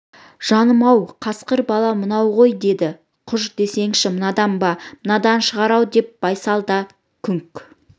жаным-ау қасқыр бала мынау ғой деді құж десеңші мынадан ба мынадан шығар-ау деп байсал да күңк